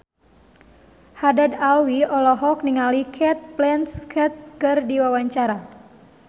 Haddad Alwi olohok ningali Cate Blanchett keur diwawancara